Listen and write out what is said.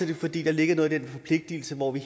det fordi der ligger noget i den forpligtelse hvor vi